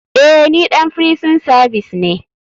Eh ni ɗan firison savis ne.